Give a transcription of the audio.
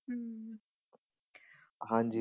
ਹਾਂਜੀ।